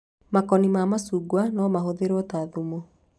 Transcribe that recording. Makoni ma macungwa no mahũthĩrwo ta thumu